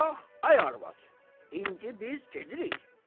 Bax, ay arvad, indi biz gedirik.